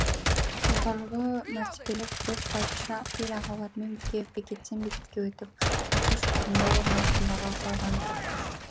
мәртебелі бек бачча ел ағаларымен бірге бекеттен бекетке өтіп ақсу шаһарында орнығып мұраға қалған таққа шықты